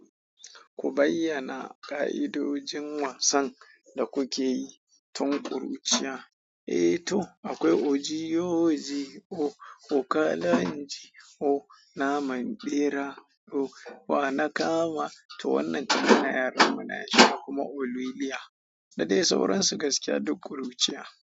Ku bayyana ka'idojin wasan da kuke yi tun kuruciya. Eh to akwai ojiyoji, o, o kalaji, o naman bera, o wa na kama. To wannan tun muna yara mu na yashi kuma oliliya. Da dai sauran su gaskiya duk kuruciya.